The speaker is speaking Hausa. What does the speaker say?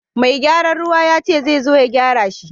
Mai gyaran ruwa yace zai zo ya gyara shi.